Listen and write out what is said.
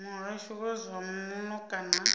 muhasho wa zwa muno kana